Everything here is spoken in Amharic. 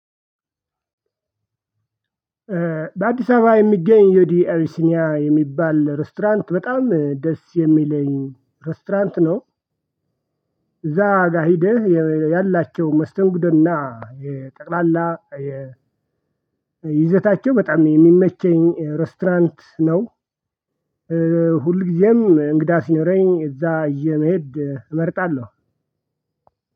በአዲስ አበባ የሚገኝ የዩዲ አቢሲኒያ የሚባል ሬስቶራንት በጣም ደስ የሚለኝ ሬስቶራንት ነው። እዛ ጋር ሂድህ ያላቸው መስተንግዶና የጠቅላላ የይዘታቸው በጣም የሚመቸኝ ሬስቶራንት ነው። ሁልጊዜም እንግዳ ሲኖረኝ እዛ ይዤ መሄድ እመርጣለሁ።